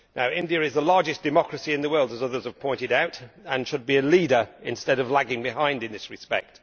India is the largest democracy in the world, as others have pointed out, and should be a leader instead of lagging behind in this respect.